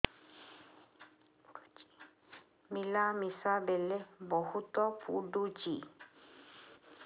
ମିଳାମିଶା ବେଳେ ବହୁତ ପୁଡୁଚି